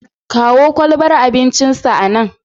Kawo kwalbar abincinsa anan.